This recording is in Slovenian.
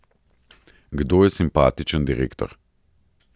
Kdo je simpatičen direktor?